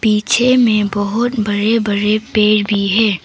पीछे में बहोत बड़े बड़े पेड़ भी हैं।